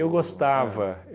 gostava.